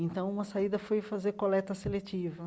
Então, uma saída foi fazer coleta seletiva.